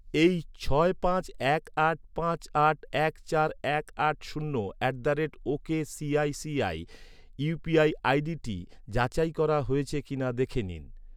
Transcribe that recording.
এই ছয় পাঁচ এক আট পাঁচ আট এক চার এক আট শূন্য at the rate okicici UPI আইডিটি যাচাই করা হয়েছে কিনা দেখে নিন।